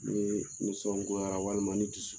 Ni nisɔn goyara walima ni dusu